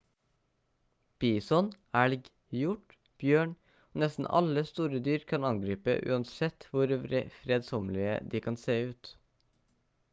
bison elg hjort bjørn og nesten alle store dyr kan angripe uansett hvor fredsommelige de kan se ut